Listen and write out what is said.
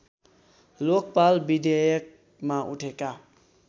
लोकपाल विधेयकमा उठेका